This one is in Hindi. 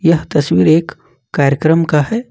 यह तस्वीर एक कार्यक्रम का हैं।